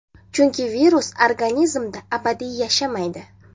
Chunki virus organizmda abadiy yashamaydi.